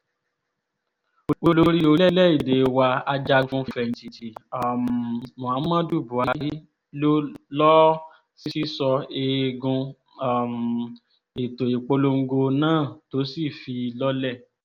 olórí orílẹ̀‐èdè wa ajagun-fẹ̀yìntì um muhammadu buhari ló lọ́ọ́ sísọ eegun um ètò ìpolongo náà tó sì fi í lọ́lẹ̀